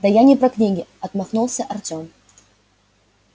да я не про книги отмахнулся артём